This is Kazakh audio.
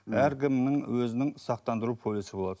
әркімнің өзінің сақтандыру полисі болады